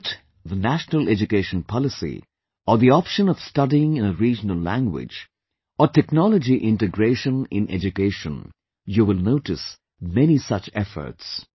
Be it the National Education Policy or the option of studying in a regional language, or technology integration in education, you will notice many such efforts